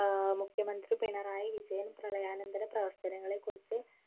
ആഹ് മുഖ്യമന്ത്രി പിണറായി വിജയൻ പ്രളയാനന്തര പ്രവർത്തനങ്ങളെ കുറിച്ച്